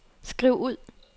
skriv ud